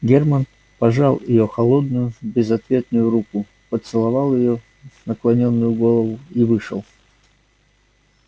германн пожал её холодную безответную руку поцеловал её наклонённую голову и вышел